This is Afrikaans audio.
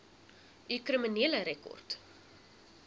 u kriminele rekord